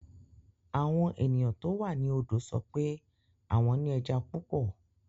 Àwọn ènìyàn tó wà ní odò sọ pé àwọn ní ẹja púpọ̀.